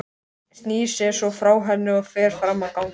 Snýr sér svo frá henni og fer fram á ganginn.